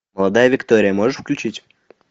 молодая виктория можешь включить